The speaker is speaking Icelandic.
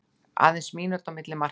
Aðeins mínúta á milli markanna